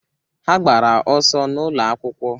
Ha gbara ọsọ n'ụlọ akwụkwọ